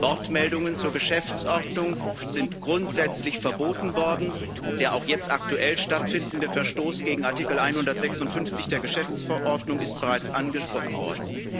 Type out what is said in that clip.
Wortmeldungen zur Geschäftsordnung sind grundsätzlich verboten worden, der auch jetzt aktuell stattfindende Verstoß gegen Artikel 156 der Geschäftsordnung ist bereits angesprochen worden.